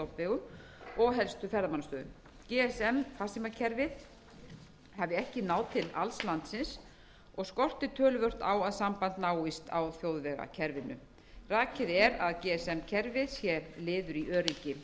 og öðrum helstu stofnvegum og helstu ferðamannastöðum gsm farsímakerfið hafi ekki náð til alls landsins og skortir töluvert á að samband náist á þjóðvegakerfinu rakið er að gsm kerfið sé liður í öryggi